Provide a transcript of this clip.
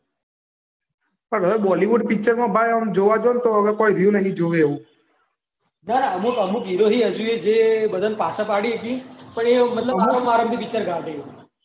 બોલીવુડ ના પિક્ચર માં ઓમ જોવા જવ તો કોઈ રહ્યું નહીં જોવા જેવું. ના ના અમુક હીરો હજીયે બધાને પાછા પાડી શકે પણ એ મતલબ અમુક વાર જ પિક્ચર કાઢે.